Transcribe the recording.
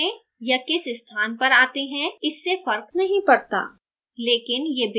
ये किस क्रम में या किस स्थान पर आते हैं इससे फर्क नहीं पड़ता